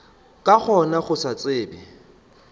ka gona go se tsebe